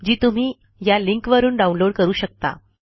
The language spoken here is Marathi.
जी तुम्ही या लिंकवरून डाऊनलोड करू शकता